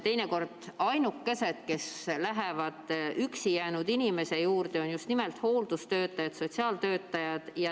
Teinekord on ainukesed, kes lähevad üksi jäänud inimese juurde, just nimelt hooldustöötajad, sotsiaaltöötajad.